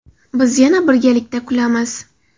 Biz yana birgalikda kulamiz.